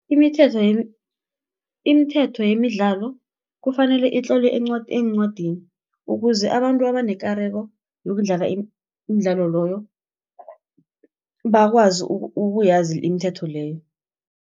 Imithetho yemidlalo kufanele itlolwe eencwadini ukuze abantu abanekareko, yokudlala imidlalo loyo, bakwazi ukuyazi imithetho leyo.